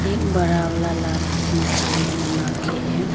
इक बड़ा वाला लाठी नीचे में नमा के है।